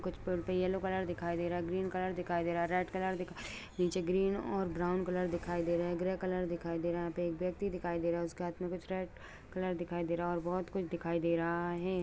कुछ पेड़ पे येलो कलर दिखाई दे रहा है ग्रीन कलर दिखाई दे रहा है रेड कलर दिखाई नीचे ग्रीन और ब्राउन कलर दिखाई दे रहा है ग्रे कलर दिखाई दे रहा है। यहाँ पे एक व्यक्ति दिखाई दे रहा है। उसके हाथ में कुछ रेड कलर दिखाई दे रहा है और बोहत कुछ दिखाई दे रहा है।